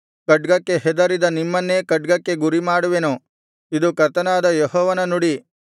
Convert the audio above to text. ಖಡ್ಗಕ್ಕೆ ಹೆದರಿದ ನಿಮ್ಮನ್ನೇ ಖಡ್ಗಕ್ಕೆ ಗುರಿಮಾಡುವೆನು ಇದು ಕರ್ತನಾದ ಯೆಹೋವನ ನುಡಿ